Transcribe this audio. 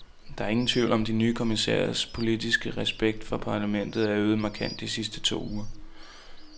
Der er ingen tvivl om, at de nye kommissærers politiske respekt for parlamentet er øget markant de sidste to uger.